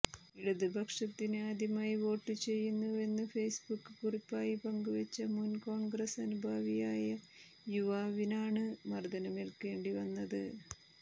ഇടതു പക്ഷത്തിന് ആദ്യമായി വോട്ടു ചെയ്യുന്നുവെന്ന് ഫേസ്ബുക്ക് കുറിപ്പായി പങ്കുവെച്ച മുൻ കോൺഗ്രസ് അനുഭാവിയായ യുവാവിനാണ് മർദനമേൽക്കേണ്ടി വന്നത്